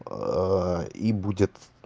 и будет